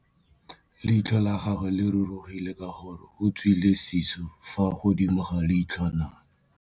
Leitlhô la gagwe le rurugile ka gore o tswile sisô fa godimo ga leitlhwana.